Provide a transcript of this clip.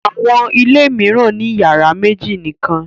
Àwọn ilé mìíràn ní ìyàrá méjì nìkan.